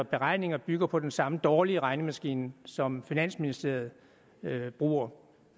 beregninger bygger på den samme dårlige regnemaskine som finansministeriet bruger